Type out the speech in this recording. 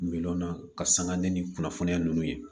Minɛnw na ka sanga ni kunnafoniya nunnu ye